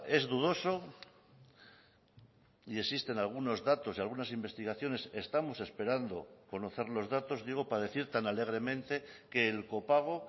es dudoso y existen algunos datos y algunas investigaciones estamos esperando conocer los datos digo para decir tan alegremente que el copago